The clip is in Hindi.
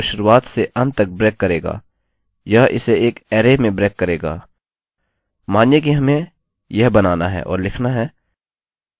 यह आपकी प्लेन स्ट्रिंग को शुरुआत से अंत तक ब्रेक करेगा यह इसे एक अरै array में ब्रेक करेगा